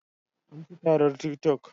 An ci tatar tik toc